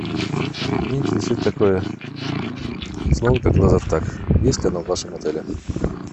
меня интересует такое слово как лазертаг есть оно в вашем отеле